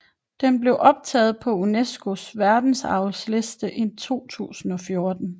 Den blev optaget på UNESCOs verdensarvsliste i 2014